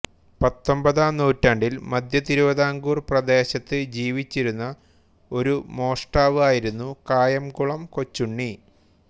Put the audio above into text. പത്തൊമ്പതാം നൂറ്റാണ്ടിൽ മദ്ധ്യതിരുവിതാംകൂർ പ്രദേശത്ത് ജീവിച്ചിരുന്ന ഒരു മോഷ്ടാവായിരുന്നു കായംകുളം കൊച്ചുണ്ണി